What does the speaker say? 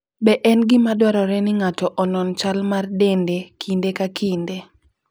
Be en gima dwarore ni ng'ato onon chal mar dende kinde ka kinde?